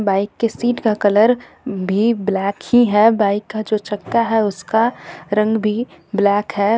Bike के seat का colour भी ब्लैक ही है बाइक का जो चक्का है उसका रंग भी ब्लैक है.